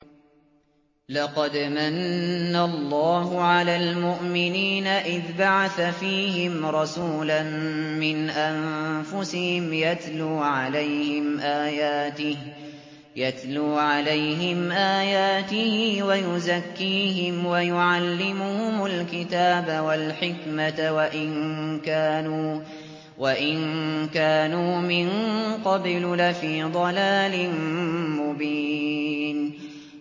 لَقَدْ مَنَّ اللَّهُ عَلَى الْمُؤْمِنِينَ إِذْ بَعَثَ فِيهِمْ رَسُولًا مِّنْ أَنفُسِهِمْ يَتْلُو عَلَيْهِمْ آيَاتِهِ وَيُزَكِّيهِمْ وَيُعَلِّمُهُمُ الْكِتَابَ وَالْحِكْمَةَ وَإِن كَانُوا مِن قَبْلُ لَفِي ضَلَالٍ مُّبِينٍ